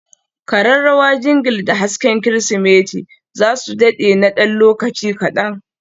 kararrawa Jingle da hasken Kirsimeti za su dade na ɗan lokaci kaɗan.